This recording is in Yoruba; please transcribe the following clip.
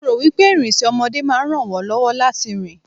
mo ro wipe irinse ọmọdé ma ran won lọwọ láti rìn